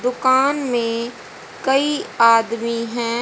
दुकान में कई आदमी है।